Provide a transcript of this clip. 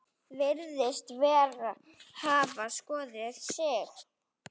Virðist hafa skotið sig.